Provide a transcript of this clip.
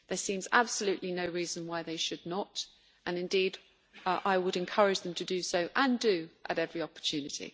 There seems absolutely no reason why they should not, and indeed I would encourage them to do so and do at every opportunity.